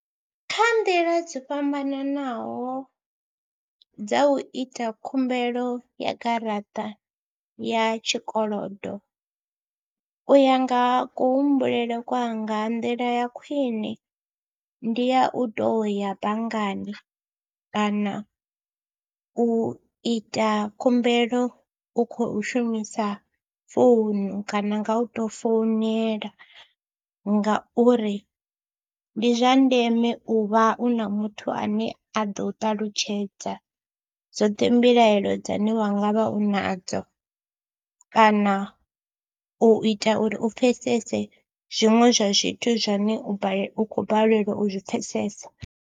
Kha nḓila dzo fhambananaho dza u ita khumbelo ya garaṱa ya tshikolodo u ya nga kuhumbulele kwanga ndila ya khwine ndi ya u tou ya banngani kana u ita khumbelo u khou shumisa founu kana nga u tou founela ngauri ndi zwa ndeme u vha u na muthu ane a ḓo u ṱalutshedza dzoṱhe mbilaelo dzine u nga vha u nadzo kana u ita uri u pfesese zwiṅwe zwa zwithu zwane u balelwa u khou balelwa u zwi pfhesesa.